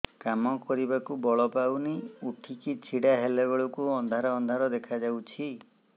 କାମ କରିବାକୁ ବଳ ପାଉନି ଉଠିକି ଛିଡା ହେଲା ବେଳକୁ ଅନ୍ଧାର ଅନ୍ଧାର ଦେଖା ଯାଉଛି